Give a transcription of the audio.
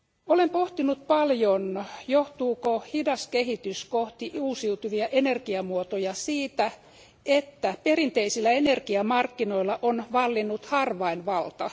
Olen pohtinut paljon, johtuuko hidas kehitys kohti uusiutuvia energiamuotoja siitä, että perinteisillä energiamarkkinoilla on vallinnut harvainvalta?